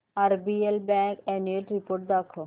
RBL bank annual report दाखव